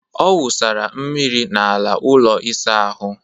Ọ wụsara mmiri n'ala ụlọ ịsa ahụ